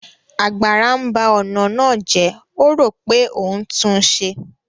Àgbàrá ńba ọ̀nà jẹ́, ó rò pé òun ńtún un ṣe